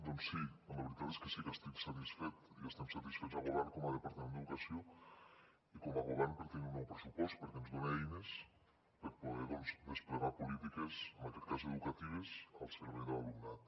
doncs sí la veritat és que sí que estic satisfet i estem satisfets al govern com a departament d’educació i com a govern per tenir un nou pressupost perquè ens dona eines per poder desplegar polítiques en aquest cas educatives al servei de l’alumnat